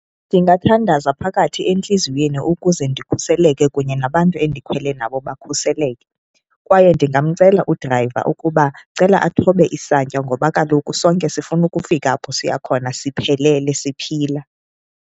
Ndingathandaza phakathi entliziyweni ukuze ndikhuseleke kunye nabantu endikhwele nabo bakhuseleke. Kwaye ndingamcela udrayiva ukuba ndicela athobe isantya ngoba kaloku sonke sifuna ukufika apho siya khona siphelele siphila.